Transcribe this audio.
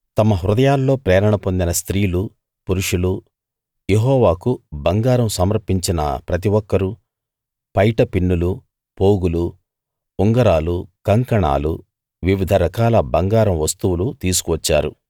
తమ హృదయాల్లో ప్రేరణ పొందిన స్త్రీలు పురుషులు యెహోవాకు బంగారం సమర్పించిన ప్రతి ఒక్కరూ పైట పిన్నులు పోగులు ఉంగరాలు కంకణాలు వివిధ రకాల బంగారం వస్తువులు తీసుకువచ్చారు